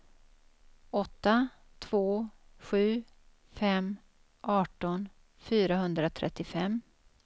åtta två sju fem arton fyrahundratrettiofem